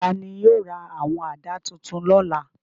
Ta ni yóò ra àwọn àdá tuntun lọ́la?